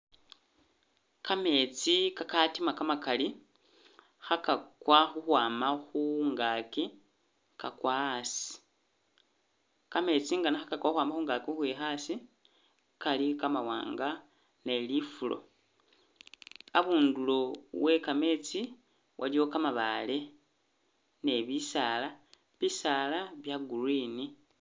Kametsi ka katima kamakali kha kakwa ukhwama khungakyi kakwa asi, kametsi nga no kha kakwa ukhwama khungakyi ukwikha asi kali kamawanga ne lifulo, abundulo we kametsi waliwo kamabaale ne bisaala bisaala bya green.